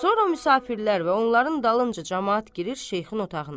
Sonra müsafirlər və onların dalınca camaat girir şeyxin otağına.